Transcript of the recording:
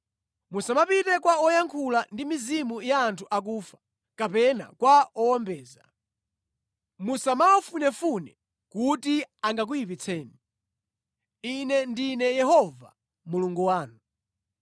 “ ‘Musamapite kwa woyankhula ndi mizimu ya anthu akufa, kapena kwa owombeza. Musamawafunefune kuti angakuyipitseni. Ine ndine Yehova Mulungu wanu.